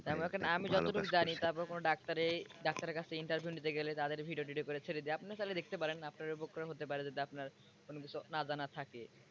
আমি যতটুক জানি তারপরে কোন doctor এর doctor এর কাছে interview নিতে গেলে তাদের video টিডিও করে ছেড়ে দেই আপনিও চাইলে দেখতে পারেন আপনার উপকার হতে পারে যদি আপনার কোনো কিছু না জানা থাকে।